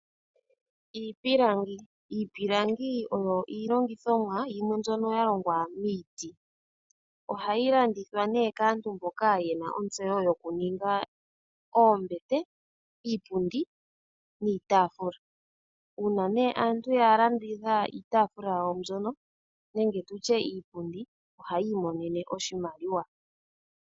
Iipilangi oyo iilongithomwa yimwe mbyoka yalongwa miiti, ohayi landithwa nee kaantu mboka yena ontseyo yokuninga oombete, iipundi oshowo iitaafula, uuna aantu yalanditha iipundi nenge iitaafula yawo mbyono, ohayi monene mo oshimaliwa.